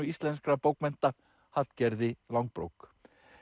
íslenskra bókmennta Hallgerði langbrók